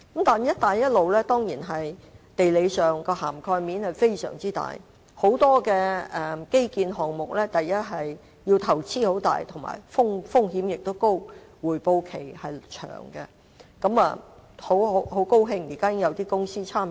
但是，"一帶一路"在地理上的涵蓋面當然非常大，很多基建項目的投資大、風險高、回報期長，很高興現時已經有一些公司參與。